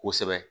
Kosɛbɛ